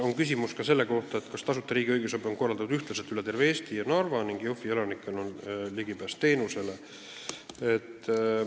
On küsimus ka selle kohta, kas tasuta riigi õigusabi on korraldatud ühtlaselt üle terve Eesti ja kas Narva ning Jõhvi elanikel on ligipääs teenusele.